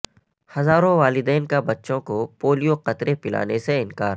ہزاروں والدین کا بچوں کو پولیو قطرے پلانے سے انکار